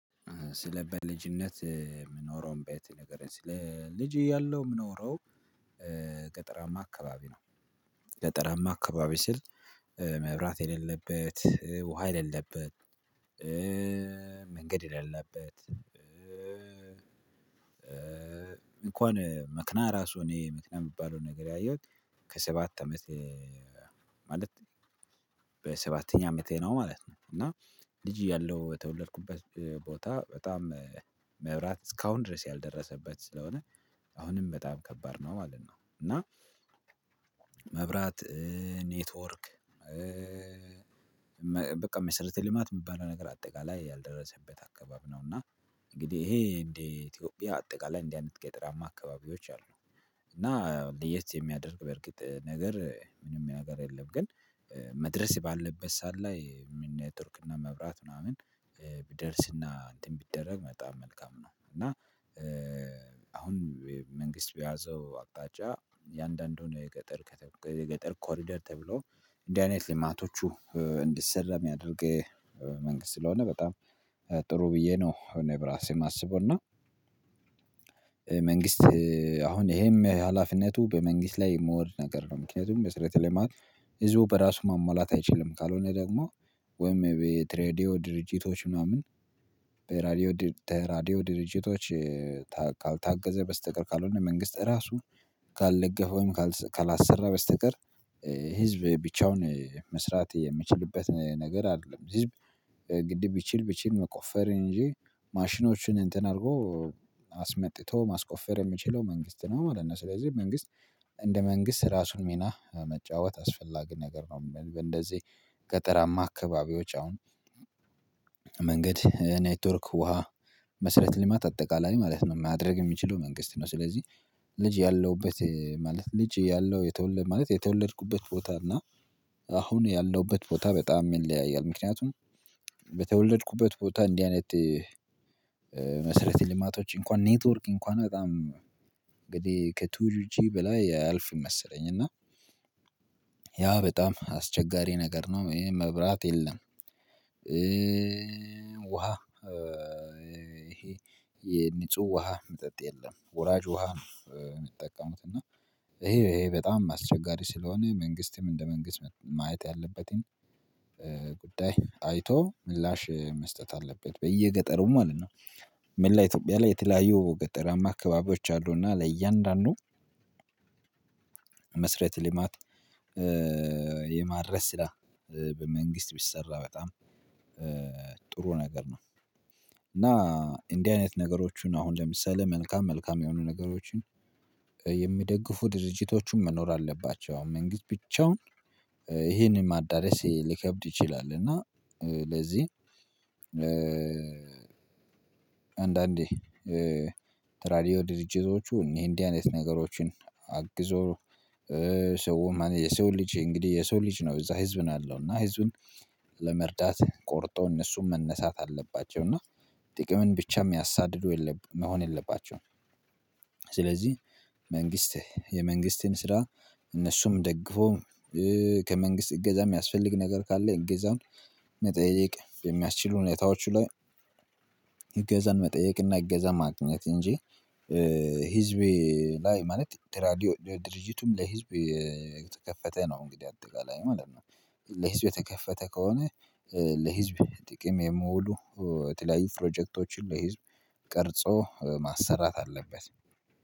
ስለ በልጅነት ምኖረውም ቤት ንገረኝ? ስለኝ ልጅ እያለው ምኖሮው ገጠራማ አካባቢ ነው ገጠራማ አካባቢ ስል መብራት የሌለበት ውሃ የሌለበት መንገድ የለበት። እንኳን መክና ራሱ እኔ መክና የሚባለው ነገር ያየሁት ከሰባት አመት ማለት በሰባተኛ አመቴ ነው ማለት ነው። እና ልጅ እያለሁ የተወለድኩበት ቦታ በጣም መብራት እስካሁን ድረስ ያልደረሰበት ስለሆነ አሁንም በጣም ከባድ ነው ማለት ነው። እና መብራት ኔትወርክ በቃ መስረተ ልማት የሚባለው ነገር አጠቃላይ ያልደረሰበት አካባቢ ነው። እና እንግዲህ ይሄ እንዴ ኢትዮጵያ አጠቃላይ እንዲህ አይነት ገጠራማ አካባቢዎች አሉ። እና ለየት የሚያደርግ በርግጥ ነገር ምንም ነገር የለም ግን መድረስ ባለበት ሰዓት ላይ ምን ኔትወርክ እና መብራት ምናምን ቢደርስና እንትን ቢደረግ በጣም መልካም ነው። እና አሁን መንግስት በያዘው አቅጣጫ የአንዳንዱን የገጠር ከተየገጠር ኮሪደር ተብሎ እንዲህ አይነት ልማቶቹ እንዲሰራ የሚያደርግ መንግስት ስለሆነ በጣም ጥሩ ብዬ ነው እኔ በራሴም ማአስቦና መንግስት አሁን ይሄም ሀላፊነቱ በመንግስት ላይ የምወርድ ነገር ነው። ምክንያቱም መስረተ ልማት ህዝቡ በራሱ ማሟላት አይችልም ካልሆነ ደግሞ ወይም የቤት ሬድዮ ድርጅቶች ምናምን በራዲዮ ተራዲዮ ድርጅቶች ካልታገዘ በስተቀር ካልሆነ መንግስት ራሱ ካልደገፈ ወይም ካልሰራ በስተቀር ህዝብ ብቻውን መስራት የምችልበት ነገር አይደለም። ጅብ ግድ ቢችል ቢችል መቆፈርን እንጂ ማሽኖችን እንትን አድርጎ አስመጥቶ ማስቆፈር የምችለው መንግስት ነው ማለት ነው። ስለዚህ መንግስት እንደ መንግስት ራሱን ሚና መጫወት አስፈላጊ ነገር ነው። እንደዚህ ገጠራማ አካባቢዎች አሁን መንገድ ኔትወርክ ውሃ መስረት ሊማት አጠቃላይ ማለት ነው ማድረግ የሚችለው መንግስት ነው። ስለዚህ ልጅ ያለውበት ማለት ልጅ ያለው የተወለድኩበት ቦታ እና አሁን ያልነውበት ቦታ በጣም ይለያያል። ምክንያቱም በተወለድኩበት ቦታ እንዲህ አይነት መሰረት ልማቶች እንኳን ኔትወርክ እንኳን በጣም እንግዲህ ከቱል ጂ በላይ አያልፍም መሰለኝ እና ያ በጣም አስቸጋሪ ነገር ነው። ይሄ መብራት የለም። ውሃ ይሄ የንጹህ ውሃ መጠጥ የለም ወራጅ ውሃ ነው። ሚጠቀሙት እና ይሄ ይሄ በጣም አስቸጋሪ ስለሆነ መንግስትም እንደ መንግስት ማየት ያለበትን ጉዳይ አይቶ ምላሽ መስጠት አለበት በየገጠሩ ማለት ነው። ምን ላይ ኢትዮጵያ ላይ የተለያየ ገጠራማ አካባቢዎች አሉና ለእያንዳንዱ መስረት ልማት የማድረስ ስራ በመንግስት ቢሰራ በጣም ጥሩ ነገር ነው። እና እንዲህ አይነት ነገሮችን አሁን ለምሳሌ መልካም መልካም የሆኑ ነገሮችን የሚደግፉ ድርጅቶቹም መኖር አለባቸው አሁን መንግስት ብቻውን ይሄንን ማዳረስ ሊከብድ ይችላል። እና ለዚህ አንዳንዴ ተራዲዮ ድርጅቶቹ እኔ እንዲህ አይነት ነገሮችን አግዞ ሰው የሰው ልጅ እንግዲህ የሰው ልጅ ነው እዛ ህዝብን አለው እና ህዝብን ለመርዳት ቆርጦ እነሱም መነሳት አለባቸው እና ጥቅምን ብቻ የሚያሳድደው የለም መሆን የለባቸውም። ስለዚህ መንግስት የመንግስትን ስራ እነሱም ደግፎ ከመንግስት እገዛ የሚያስፈልግ ነገር ካለ እገዛን መጠየቅ የሚያስችሉ ሁኔታዎቹ ላይ እገዛን መጠየቅና እገዛን ማግኘት እንጂ ህዝቤ ላይ ማለት ተራዲዮ ድርጅቱም ለሂዝብ የተከፈተ ነው እንግዲህ አጠቃላይ ማለት ነው። ለሂዝብ የተከፈተ ከሆነ ለሂዝብ ጥቅም የምውሉ የተለያዩ ፕሮጀክቶችን ለሂዝብ ቀርጾ ማሰራት አለበት